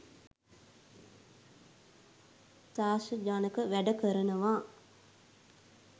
ත්‍රාසජනක වැඩ කරනවා.